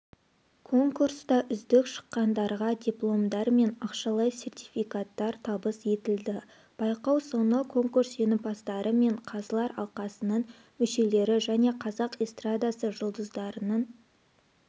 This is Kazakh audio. конкурста үздік шыққандарға дипломдар мен ақшалай сертификаттар табыс етілді байқау соңы конкурс жеңімпаздары мен қазылар алқасының мүшелері және қазақ эстрадасы жұлдыздарының